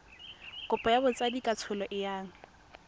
kopo ya botsadikatsholo e yang